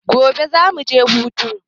Gobe za mu je hutu.